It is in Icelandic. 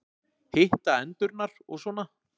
Hitta endurnar og svona.